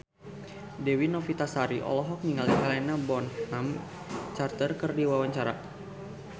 Dewi Novitasari olohok ningali Helena Bonham Carter keur diwawancara